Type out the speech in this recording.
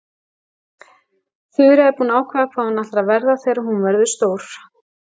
Þura er búin að ákveða hvað hún ætlar að verða þegar hún verður stór.